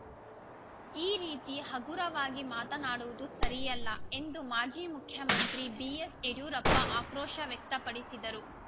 ಈ ರೀತಿ ಹಗುರವಾಗಿ ಮಾತನಾಡುವುದು ಸರಿಯಲ್ಲ ಎಂದು ಮಾಜಿ ಮುಖ್ಯಮಂತ್ರಿ ಬಿಎಸ್‌ಯಡಿಯೂರಪ್ಪ ಆಕ್ರೋಶ ವ್ಯಕ್ತಪಡಿಸಿದರು